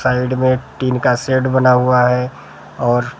side में tin का set बना हुआ है और--